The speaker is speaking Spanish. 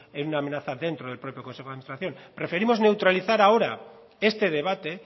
en una amenaza dentro de propio consejo de administración preferimos neutralizar ahora este debate